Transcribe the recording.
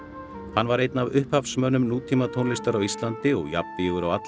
hann var einn af upphafsmönnum nútímatónlistar á Íslandi og jafnvígur á alla